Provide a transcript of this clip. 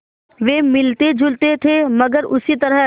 वे मिलतेजुलते थे मगर उसी तरह